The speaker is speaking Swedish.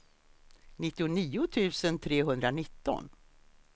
nittionio tusen trehundranitton